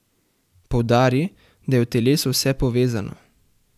Poudari, da je v telesu vse povezano.